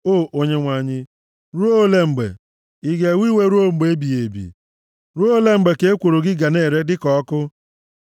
O Onyenwe anyị, ruo olee mgbe? Ị ga-ewe iwe ruo mgbe ebighị ebi? Ruo olee mgbe ka ekworo gị ga na-ere dịka ọkụ?